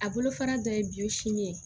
A bolofara dɔ ye biyɔn sin ye